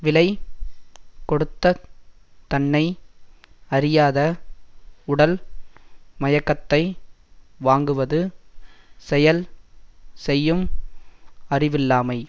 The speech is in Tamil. விலை கொடுத்தத் தன்னை அறியாத உடல் மயக்கத்தை வாங்குவது செயல் செய்யும் அறிவில்லாமை